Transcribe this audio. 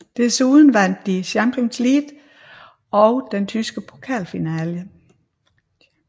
Desuden vandt de Champions League og den tyske pokalfinale